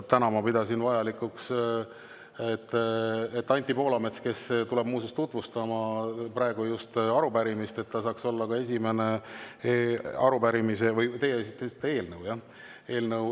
Täna ma pidasin vajalikuks, et Anti Poolamets, kes tuleb muuseas tutvustama praegust arupärimist, saaks olla ka esimene arupärimise või – te esitasite eelnõu, jah?